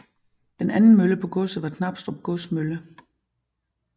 Den anden mølle på godset var Knabstrup Godsmølle